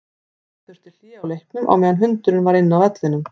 Gera þurfti hlé á leiknum á meðan hundurinn var inn á vellinum.